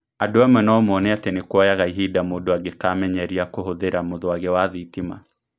Andũ amwe no moone atĩ nĩ kuoyaga ihinda mũndũ angĩkamenyeria kũhũthĩra mũthwagi wa thitima.